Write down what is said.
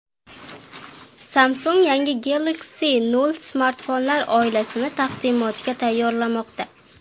Samsung yangi Galaxy O smartfonlar oilasini taqdimotga tayyorlamoqda.